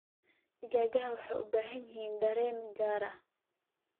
Digaagga waxay u baahan yihiin dareen gaar ah.